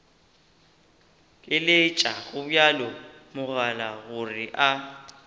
leletša gobjalo mogala gore a